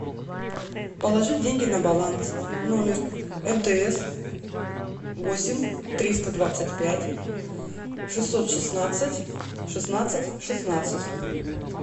положить деньги на баланс номер мтс восемь триста двадцать пять шестьсот шестнадцать шестнадцать шестнадцать